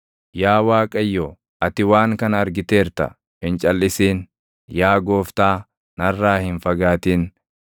Yaa Waaqayyo, ati waan kana argiteerta; hin calʼisin. Yaa gooftaa, narraa hin fagaatin.